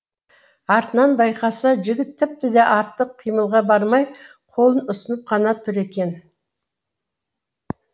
артынан байқаса жігіт тіпті де артық қимылға бармай қолын ұсынып қана тұр екен